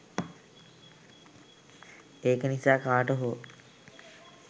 ඒක නිසා කාට හෝ